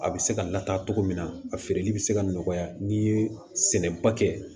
A bɛ se ka lataa cogo min na a feereli bɛ se ka nɔgɔya n'i ye sɛnɛba kɛ